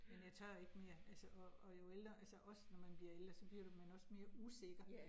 Men jeg tør ikke mere, altså og og jo ældre altså også når man bliver ældre, så bliver du man også mere usikker